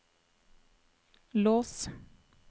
lås